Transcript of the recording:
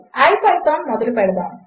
ipythonమొదలుపెడదాము